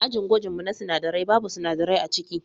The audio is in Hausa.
Ajin gwajin mu na sinadarai babu sinadarai aciki.